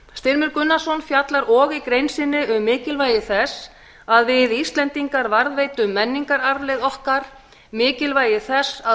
styrmir gunnarsson fjallar og í grein sinni um mikilvægi þess að við íslendingar varðveitum menningararfleifð okkar mikilvægi þess að